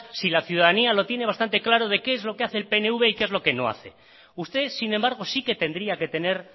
si la ciudadanía lo tiene bastante claro de qué es lo que hace el pnv y qué es lo que no hace usted sin embargo sí que tendría que tener